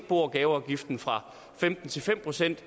bo og gaveafgiften fra femten til fem procent